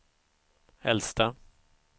äldsta